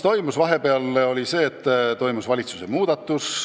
Vahepeal muutus valitsuse koosseis.